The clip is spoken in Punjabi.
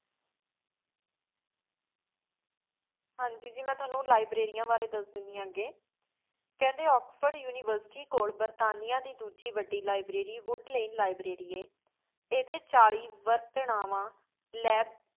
ਹਾਂਜੀ ਜੀ ਮੈਂ ਤ੍ਵਾਨੁ ਲਿਬ੍ਰਾਰੀਆਂ ਬਰੀ ਦਸ ਦੇਂਦੀ ਆ ਅਗੀ ਕੇਹ੍ਨ੍ਡੇ ਓਕ੍ਸ੍ਫੋਰਡ ਉਨਿਵੇਰ੍ਸਿਟੀ ਕੋਲ ਬਰਤਾਨੀਆ ਦੇ ਡੋਜੀ ਵਾਦੀ library ਵੂਦ੍ਲੈੰਡ ਲਿਬ੍ਰਾਰੀ ਹੈ ਈਦੀ ਚਾਲੀਸ ਵਾਰ੍ਤ੍ਨਾਵਾ ਲਬ